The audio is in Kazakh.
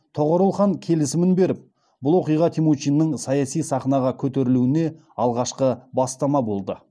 тоғорыл хан келісімін беріп бұл оқиға темучиннің саяси сахнаға көтерілуіне алғашқы бастама болды